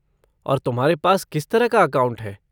और तुम्हारे पास किस तरह का अकाउंट है?